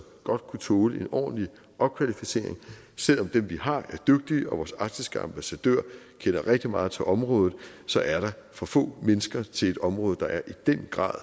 godt kunne tåle en ordentlig opkvalificering selv om dem vi har er dygtige og vores arktiske ambassadør kender rigtig meget til området så er der for få mennesker til et område der i den grad